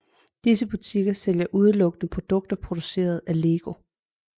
Disse butikker sælger udelukkende produkter produceret af LEGO